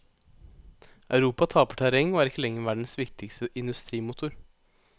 Europa taper terreng og er ikke lenger verdens viktigste industrimotor.